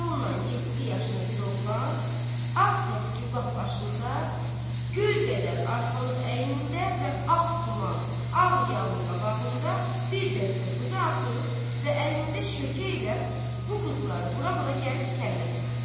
Yolnan yeddi yaşını bir oğlan ağ təsgüllah başında, göy qədər arxalıq əynində və ağ tuman, ağ yalın qabağında bir dəstə quzu atıb və əlində şökə ilə bu quzuları vura-vura gəlir kəndə tərəf.